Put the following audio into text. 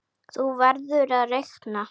Þú verður að reikna